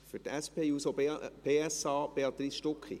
Für die SP-JUSO-PSA spricht Béatrice Stucki.